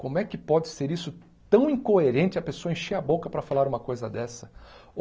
Como é que pode ser isso tão incoerente a pessoa encher a boca para falar uma coisa dessa?